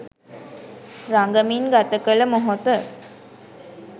රඟමින් ගත කළ මොහොත